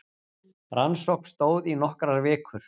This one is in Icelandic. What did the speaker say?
Rannsókn stóð í nokkrar vikur